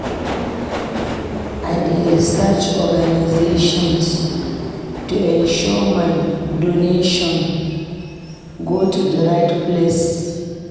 I dey research organizations to ensure my donations go to the right places.